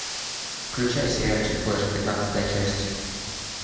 включай сериальчик флэш пятнадцатая часть